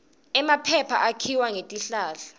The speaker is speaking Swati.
emaphepha akhiwa ngetihlahla